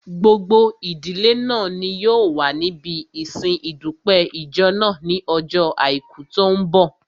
Gbogbo ìdílé náà ni yóò wà níbi ìsin ìdúpẹ́ ìjọ náà ní ojó àìkú tó n bọ̀